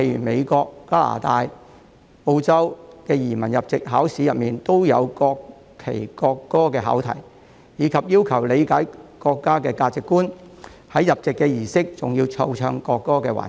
美國、加拿大及澳洲等許多國家的移民入籍考試中，亦有關於國旗和國歌的考題，以及要求申請人理解國家的價值觀，入籍儀式中還有奏唱國歌的環節。